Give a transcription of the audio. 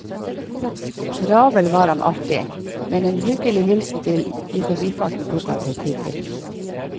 Travel var han alltid, men en hyggelig hilsen i forbifarten tok han seg tid til.